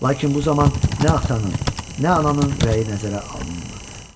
Lakin bu zaman nə atanın, nə ananın rəyi nəzərə alınmırdı.